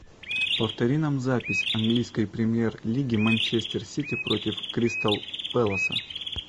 повтори нам запись английской премьер лиги манчестер сити против кристал пэласа